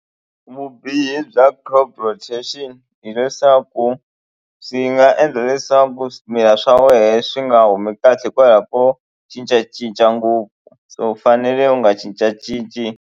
Vubihi bya crop rotation hileswaku swi nga endla leswaku swimila swa wehe swi nga humi kahle hikwalaho ko cincacinca ngopfu so u fanele u nga cincacinci.